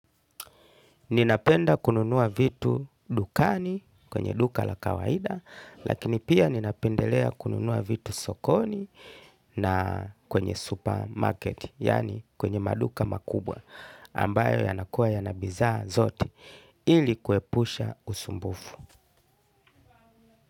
Ninapenda kununua vitu dukani, kwenye duka la kawaida, lakini pia ninapendelea kununua vitu sokoni. Na kwenye supermarket, yaani kwenye maduka makubwa, ambayo yanakuwa yana bidhaa zote ili kuepusha usumbufu.